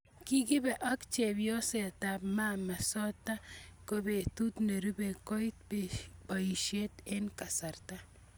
Kikibe ak chepyosetab maama sotto kobetut nerubei koit boisiet eng kasarta